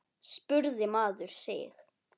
spurði maður sig.